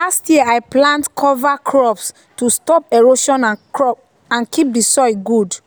last year i plant cover crops to stop erosion and keep soil good.